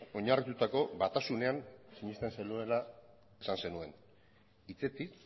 oinarritutako batasunean sinesten zenuela esan zenuen hitzetik